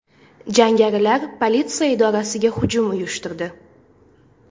Jangarilar politsiya idorasiga hujum uyushtirdi.